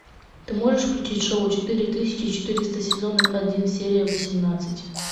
ты можешь включить шоу четыре тысячи четыреста сезон один серия восемнадцать